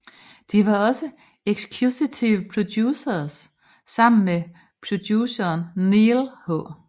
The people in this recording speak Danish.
De var også executive producers sammen med produceren Neal H